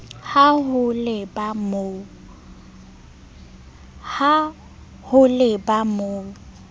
ha ho le ba mo